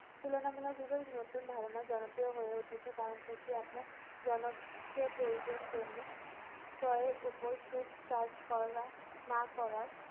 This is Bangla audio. তুলনামূলকভাবে নতুন ধারণা জনপ্রিয় হয়ে উঠেছে কারণ এটি আপনার জনপ্রিয় প্রয়োজন জন্যে। ক্রয়ের উপর সুদ charge করা না করার